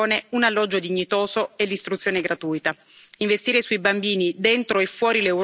Investire sui bambini, dentro e fuori l'Europa, significa investire sul futuro del mondo.